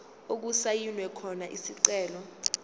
okusayinwe khona isicelo